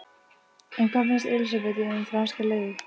En hvað finnst Elísabetu um franska liðið?